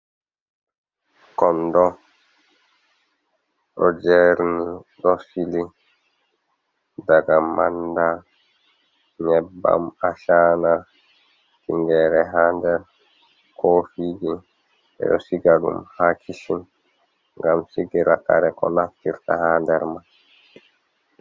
Kondo ɗo jerni ɗo sili, daga manda, nyebbam ashana, tingere ha nder. Kofiji ɓeɗo siga ɗum ha kishin ngam sigira kare ko naftirta ha nder man.